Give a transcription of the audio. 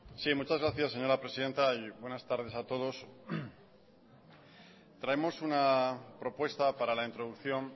sí muchas gracias señora presidenta y buenas tardes a todos traemos una propuesta para la introducción